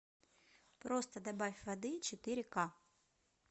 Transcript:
просто добавь воды четыре к